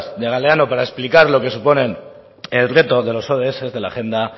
de galdeano para explicar lo que supone el reto de los ods de la agenda